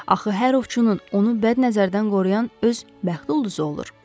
Axı hər ovçunun onu bədnəzərdən qoruyan öz bəxti ulduzu olur.